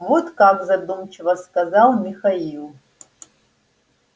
вот как задумчиво сказал михаил